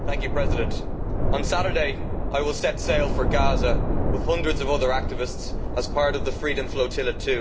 Madam President, on Saturday I will set sail for Gaza with hundreds of other activists as part of the Freedom Flotilla